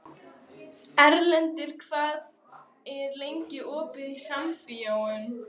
Erlendur, hvað er lengi opið í Sambíóunum?